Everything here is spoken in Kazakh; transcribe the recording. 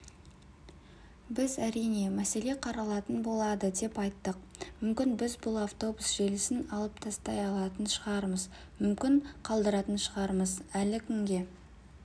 біз әрине мәселе қаралатын болады деп айттық мүмкін біз бұл автобус желісін алып тастай алатын шығармыз мүмкін қалдыратын шығармыз әлі күнге